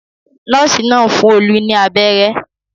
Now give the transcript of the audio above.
Nọ́ọ́sì náà ń fún Olú ní abẹ́rẹ́.